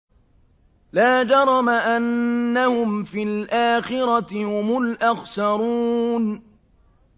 لَا جَرَمَ أَنَّهُمْ فِي الْآخِرَةِ هُمُ الْأَخْسَرُونَ